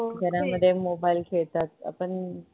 घर मध्ये mobile खेळतात आपण